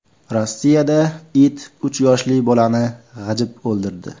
Rossiyada it uch yoshli bolani g‘ajib o‘ldirdi.